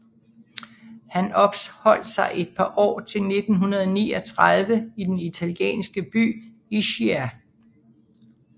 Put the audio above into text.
Han opholdt sig et par år til 1939 i den italienske by Ischia